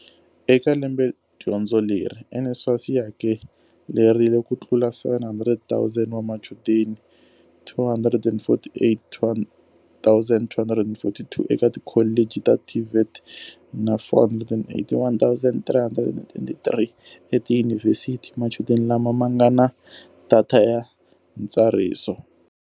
Eka lembedyondzo leri, NSFAS yi hakelerile kutlula 700 000 wa machudeni, 248 242 eka tikholeji ta TVET na 481 339 etiyunivhesiti, machudeni lama ma nga na data ya ntsariso.